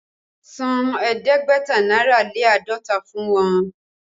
San ẹ̀ẹ́dẹ́gbẹ̀ta náírà lé àádọ́ta fún wọn!